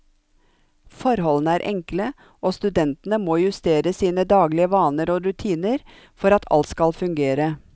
Forholdene er enkle, og studentene må justere sine daglige vaner og rutiner for at alt skal fungere.